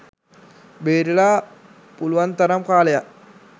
බේරිලා පුළුවන් තරම් කාලයක්